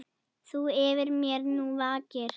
Þú yfir mér nú vakir.